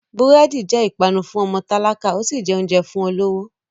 Búrẹ́dì jẹ́ ìpanu fún ọmọ tálákà, ó sì jẹ oúnjẹ fún olówó.